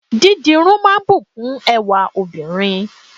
Dídirun máa ń bùkún ẹwà óbìnrin